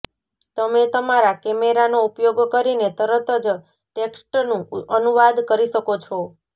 તમે તમારા કૅમેરાનો ઉપયોગ કરીને તરત જ ટેક્સ્ટનું અનુવાદ કરી શકો છો